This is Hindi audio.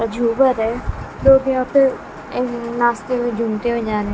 झूमर है लोग यहां पर अह नाचते हुए झूमते हुए जा रहे हैं।